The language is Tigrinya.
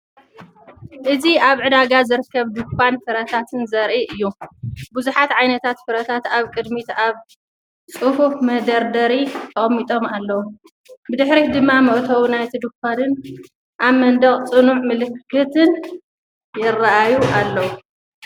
እዚ ኣብ ዕዳጋ ዝርከብ ድኳን ፍረታት ዘርኢ እዩ። ብዙሓት ዓይነታት ፍረታት ኣብ ቅድሚት ኣብ ጽፉፍ መደርደሪ ተቐሚጦም ኣለዉ። ብድሕሪት ድማ መእተዊ ናይቲ ድኳንን ኣብ መንደቕ ጽኑዕ ምልክትን ይራኣዩ ኣለው።